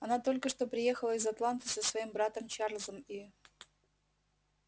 она только что приехала из атланты со своим братом чарлзом и